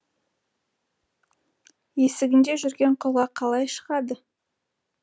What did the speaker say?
есігінде жүрген құлға қалай шығады